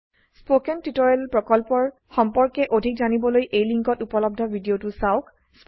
spoken tutorial প্ৰকল্পৰ সম্পৰ্কে অধিক জানিবলৈ লিঙ্কত উপলব্ধ ভিডিওটো চাওক